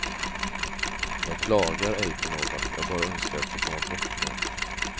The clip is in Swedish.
Jag klagar ej på någon, jag bara önskar att få komma bort nu.